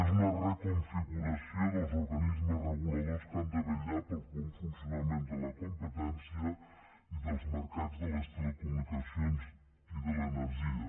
és una reconfiguració dels organismes reguladors que han de vetllar pel bon funcionament de la competència i dels mercats de les telecomunicacions i de l’energia